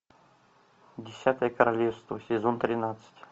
десятое королевство сезон тринадцать